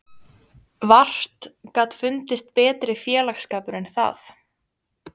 Vart gat fundist betri félagsskapur en það.